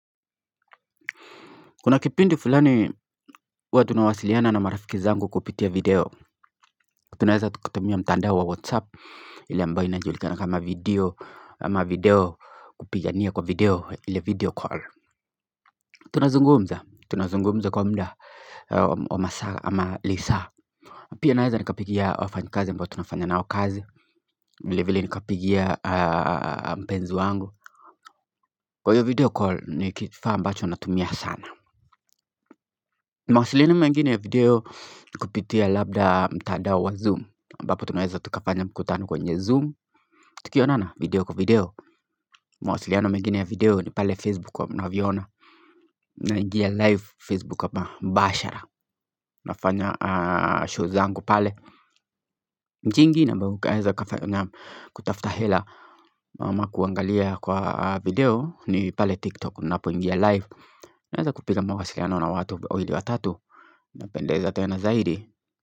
Kuna kipindi fulani watunawasiliana na marafiki zangu kupitia video Tunaweza tukutumia mtandao wa whatsapp ile ambayo inajulikana kama video ama video kupigania kwa video ili video call Tunazungumza, tunazungumza kwa mda wa masaa ama lisa Pia naweza nikapigia wafanyakazi mbao tunafanya na kazi vile vile nikapigia mpenzi wangu Kwa hiyo video call nikifa ambacho natumia sana Mawasiliana mengine ya video kupitia labda mtadao wa zoom ambapo tunaeza tukafanya mkutano kwenye zoom Tukionana video kwa video Mawasiliana mengine ya video ni pale facebook wa mnaviona na ingia live facebook wa mbashara Nafanya show zangu pale Mchingi na mbuku aeza kufanya kutaftahela ama kuangalia kwa video ni pale tiktok na po ingia live Naeza kupiga mawasiliana na watu wili wa tatu na pendeza tena zaidi.